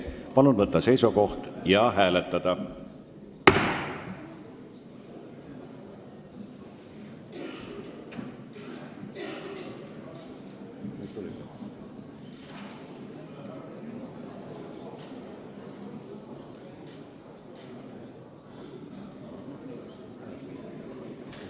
Palun võtta seisukoht ja hääletada!